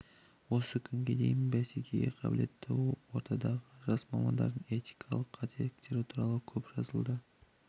осы күнге дейін бәсекеге қабілетті ортадағы жас мамандардың этикалық қателіктері туралы көп жазылды